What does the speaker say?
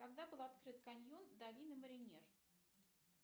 когда был открыт каньон долины маринер